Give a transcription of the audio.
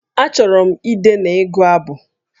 Achọrọ m ide na ịgụ abụ